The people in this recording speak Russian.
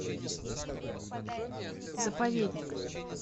заповедник